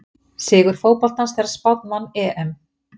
Sigur fótboltans þegar Spánn vann EM!